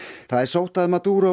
það er sótt að